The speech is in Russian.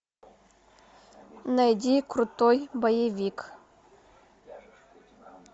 найди крутой боевик